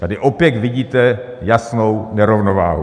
Tady opět vidíte jasnou nerovnováhu.